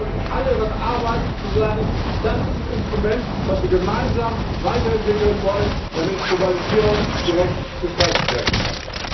Da müssen wir, glaube ich, alle daran arbeiten, zu sagen Das ist ein Instrument, was wir gemeinsam weiterentwickeln wollen, damit Globalisierung gerecht gestaltet werden kann.